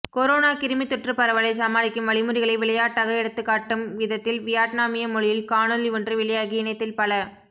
corona கிருமித்தொற்றுப் பரவலைச் சமாளிக்கும் வழிமுறைகளை விளையாட்டாக எடுத்துக்காட்டும் விதத்தில் வியட்னாமிய மொழியில் காணொளி ஒன்று வெளியாகி இணையத்தில் பல